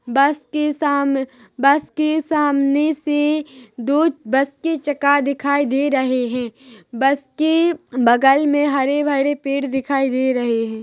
बस के साम- बस के सामने से दो बस के चका दिखाई दे रहे है बस के बगल में हरे-भरे पेड़ दिखाई दे रहे है।